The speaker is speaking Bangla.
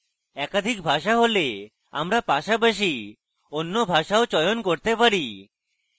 একাধিক ভাষা হলে আমরা পাশাপাশি অন্য ভাষাও চয়ন করতে পারি